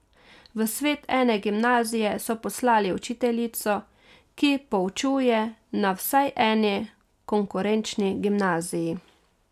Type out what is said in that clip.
V svet ene gimnazije so poslali učiteljico, ki poučuje na vsaj eni konkurenčni gimnaziji.